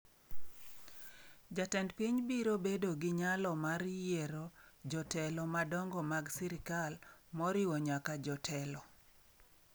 Jatend piny biro bedo gi nyalo mar yiero jotelo madongo mag sirkal moriwo nyaka jotelo.